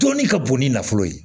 Donni ka bon ni nafolo ye